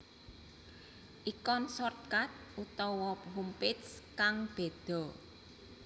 Ikon shortcut utawa homepage kang bedha